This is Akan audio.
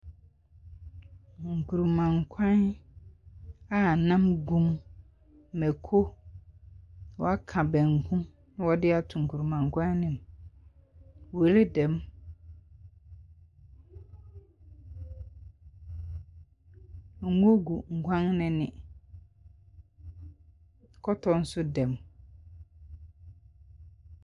Nkruma nkwan a nam gu mu, mako, wɔaka banku, na wɔde ato nkrumankwan no mu. Wele da mu, ngo gu nkwan no ani na kɔtɔ nso da mu.